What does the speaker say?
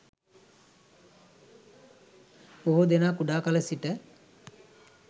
බොහෝ දෙනා කුඩා කල සිට